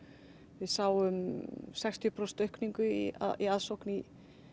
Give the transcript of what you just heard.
við sáum sextíu prósent aukningu í í aðsókn í